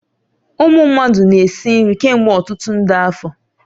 Ụmụ mmadụ na-esi nri kemgbe ọtụtụ nde afọ